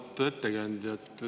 Auväärt ettekandja!